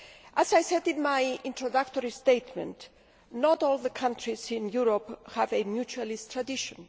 As I said in my introductory statement, not all the countries of Europe have a mutualist tradition.